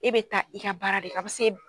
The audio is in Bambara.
E bɛ taa i ka baara de